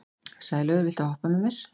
Sælaugur, viltu hoppa með mér?